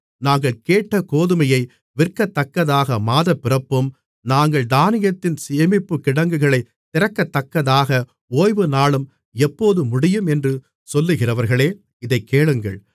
நாங்கள் கேட்ட கோதுமையை விற்கத்தக்கதாக மாதப்பிறப்பும் நாங்கள் தானியத்தின் சேமிப்புக்கிடங்குகளை திறக்கத்தக்கதாக ஓய்வு நாளும் எப்போது முடியும் என்று சொல்லுகிறவர்களே இதைக் கேளுங்கள்